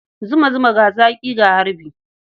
Zumu zuma, ga zaƙi, ga harbi.